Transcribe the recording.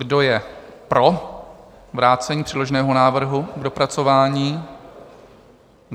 Kdo je pro vrácení předloženého návrhu k dopracování?